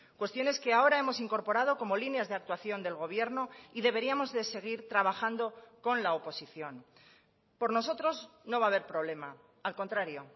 cuestiones que ahora hemos incorporado como líneas de actuación del gobierno y deberíamos de seguir trabajando con la oposición por nosotros no va a haber problema al contrario